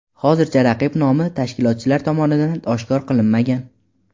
Hozircha raqib nomi tashkilotchilar tomonidan oshkor qilinmagan.